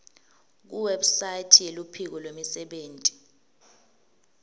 kuwebsite yeluphiko lwemisebenti